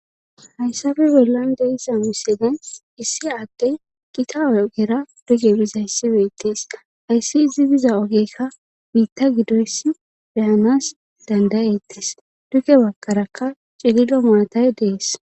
hayssabe bollan deisa misene issi aaddey gita ogera duge biza yssibetees hayssi izi biza ogekka biitta gidoys beyanas dandayettis duke bakarakka cililo maatay dees